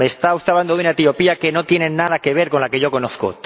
Me está usted hablando de una Etiopía que no tiene nada que ver con la que yo conozco.